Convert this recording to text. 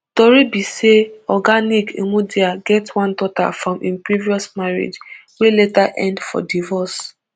tori be say oga nick imudia get one daughter from im previous marriage wey later end for divorce